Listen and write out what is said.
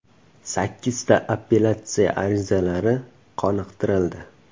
Sakkizta appelyatsiya arizalari qoniqtirildi.